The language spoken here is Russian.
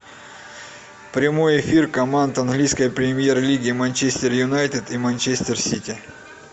прямой эфир команд английской премьер лиги манчестер юнайтед и манчестер сити